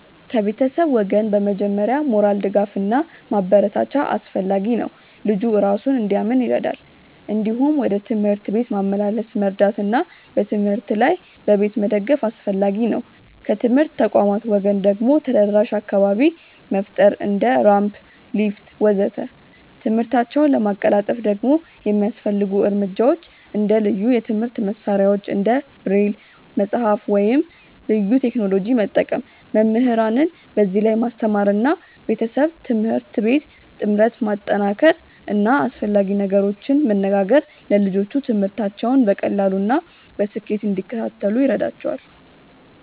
ከቤተሰብ ወገን በመጀመሪያ ሞራል ድጋፍ እና ማበረታቻ አስፈላጊ ነው፣ ልጁ እራሱን እንዲያምን ይረዳል። እንዲሁም ወደ ትምህርት ቤት ማመላለስ መርዳት እና በትምህርት ላይ በቤት መደገፍ አስፈላጊ ነው። ከትምህርት ተቋማት ወገን ደግሞ ተደራሽ አካባቢ መፍጠር እንደ ራምፕ፣ ሊፍት ወዘተ..።ትምህርታቸውን ለማቀላጠፍ ደግሞ የሚያስፈልጉ እርምጃዎች እንደ ልዩ የትምህርት መሳሪያዎች እንደ ብሬል መጽሐፍ ወይም ልዩ ቴክኖሎጂ መጠቀም፣ መምህራንን በዚህ ላይ ማስተማር እና ቤተሰብ-ትምህርት ቤት ጥምረት ማጠናከር እና አስፈላጊ ነገሮችን መነጋገር ለልጆቹ ትምህርታቸውን በቀላሉ እና በስኬት እንዲከታተሉ ይረዳቸዋል።